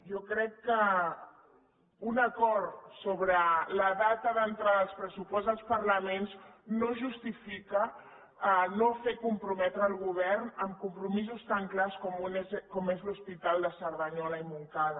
jo crec que un acord sobre la data d’entrada dels pressupostos als parlaments no justifica no fer comprometre el govern amb compromisos tan clars com és l’hospital de cerdanyola i montcada